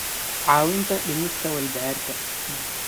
caawinta dhimista walbahaarka.